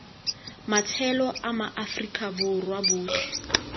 matshelo a maaforika borwa otlhe